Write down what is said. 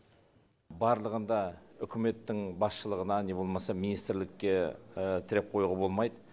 барлығын да үкіметтің басшылығына не болмаса министрлікке тіреп қоюға болмайды